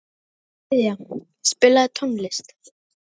Gyðja, spilaðu tónlist.